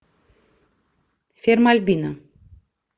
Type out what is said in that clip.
ферма альбино